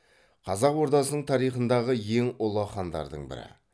қазақ ордасының тарихындағы ең ұлы хандардың бірі